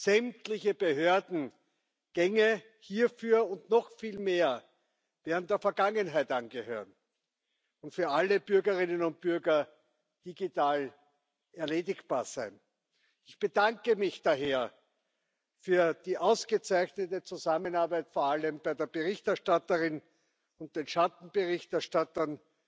sämtliche Behördengänge hierfür und noch viel mehr werden der Vergangenheit angehören und für alle Bürgerinnen und Bürger digital erledigbar sein. Ich bedanke mich daher für die ausgezeichnete Zusammenarbeit vor allem bei der Berichterstatterin und den Schattenberichterstattern